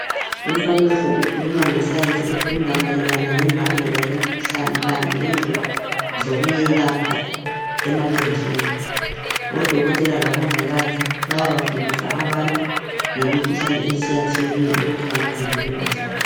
Umfanekiso ukhuluma nge science efunda mayelana lembangela yemikhuhlane kanye lendlela zokuyelapha emaqenjini. Odokotela labongikazi bayabafundisa abantu ngemikhuhlane etshiyatshiyeneyo lokuthi bengazivikela njani.